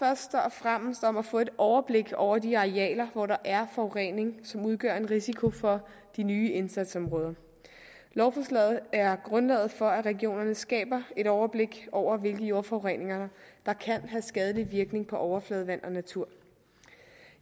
fremmest om at få et overblik over de arealer hvor der er forurening som udgør en risiko for de nye indsatsområder lovforslaget er grundlaget for at regionerne skaber et overblik over hvilken jordforurening der kan have skadelige virkninger på overfladevand og natur